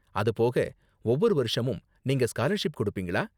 அது போக, ஒவ்வொரு வருஷமும் நீங்க ஸ்காலர்ஷிப் கொடுப்பீங்களா?